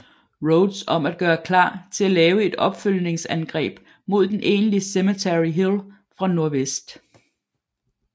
Rodes om at gøre klar til at lave et opfølgningsangreb mod den egentlige Cemetery Hill fra nordvest